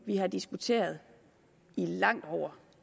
vi har diskuteret i langt over